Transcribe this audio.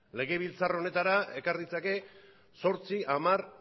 legebiltzar honetara ekar ditzake zortzi hamar